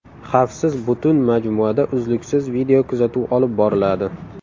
Xavfsiz butun majmuada uzluksiz videokuzatuv olib boriladi.